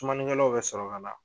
Sumani kɛlaw bɛ sɔrɔ ka na.